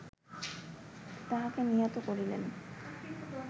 তাহাকে নিহত করিলেন